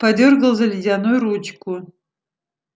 подёргал за ледяную ручку